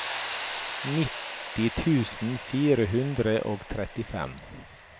nitti tusen fire hundre og trettifem